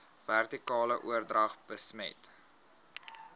vertikale oordrag besmet